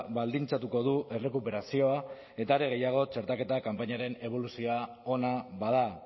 baldintzatuko du errekuperazioa eta are gehiago txertaketa kanpainaren eboluzioa ona bada